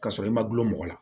K'a sɔrɔ i ma gulɔ mɔgɔ la